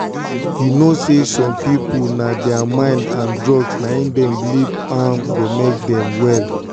you know say some people na thier mind and drugs na him them believe say go make them um well.